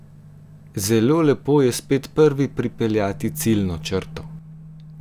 Zelo lepo je spet prvi pripeljati ciljno črto!